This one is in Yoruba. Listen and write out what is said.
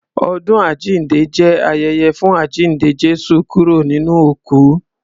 Ọdún àjínde jẹ́ ayẹyẹ fún àjínde Jésù kúrò nínú òkú.